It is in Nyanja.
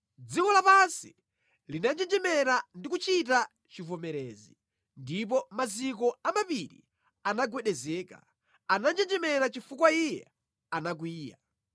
Dziko lapansi linanjenjemera ndi kuchita chivomerezi, ndipo maziko a mapiri anagwedezeka; ananjenjemera chifukwa Iye anakwiya.